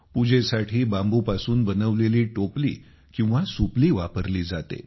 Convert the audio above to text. पूजेसाठी बांबूपासून बनवलेली टोपली किंवा सुपली वापरली जाते